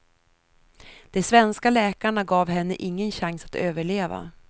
De svenska läkarna gav henne ingen chans att överleva.